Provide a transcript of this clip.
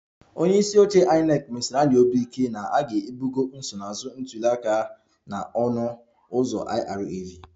Onye isi oche INEC mesiri anyị obi ike na a ga-ebugo nsonaazụ ntuli aka na ọnụ ụzọ IREV